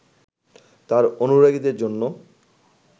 তাঁর অনুরাগীদের জন্য